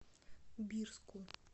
бирску